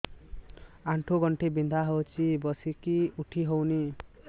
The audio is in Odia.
ଆଣ୍ଠୁ ଗଣ୍ଠି ବିନ୍ଧା ହଉଚି ବସିକି ଉଠି ହଉନି